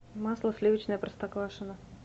масло сливочное простоквашино